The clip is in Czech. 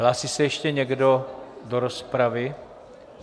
Hlásí se ještě někdo do rozpravy?